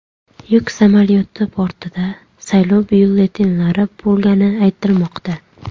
Yuk samolyoti bortida saylov byulletenlari bo‘lgani aytilmoqda.